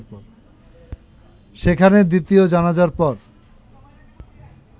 সেখানে দ্বিতীয় জানাজার পর